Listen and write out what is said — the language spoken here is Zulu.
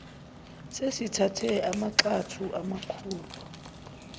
sesithathe amagxathu amakhulu